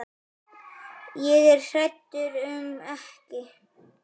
Ég er hræddur um ekki.